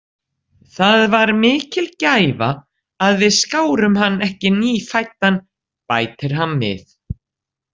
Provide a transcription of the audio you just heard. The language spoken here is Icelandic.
Það var mikil gæfa að við skárum hann ekki nýfæddan, bætir hann við.